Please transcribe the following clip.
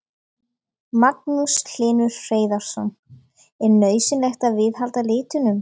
Magnús Hlynur Hreiðarsson: Er nauðsynlegt að viðhalda litunum?